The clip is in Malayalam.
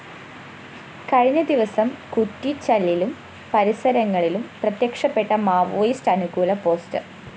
കഴിഞ്ഞ ദിവസം കുറ്റിച്ചലിലും പരിസരങ്ങളിലും പ്രത്യക്ഷപ്പെട്ട മാവോയിസ്റ്റ് അനുകൂല പോസ്റ്റർ